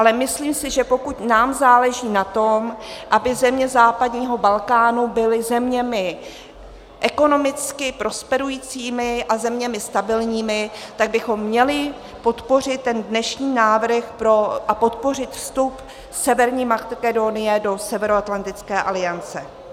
Ale myslím si, že pokud nám záleží na tom, aby země západního Balkánu byly zeměmi ekonomicky prosperujícími a zeměmi stabilními, tak bychom měli podpořit ten dnešní návrh a podpořit vstup Severní Makedonie do Severoatlantické aliance.